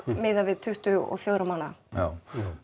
miðað við tuttugu og fjögurra mánaða já